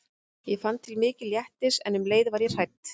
Ég fann til mikils léttis en um leið var ég hrædd.